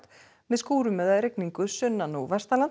með skúrum eða rigningu sunnan og